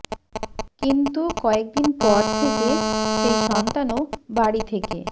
কিন্তু কয়েক দিন পর থেকে সেই সন্তানও বাড়ি থেকে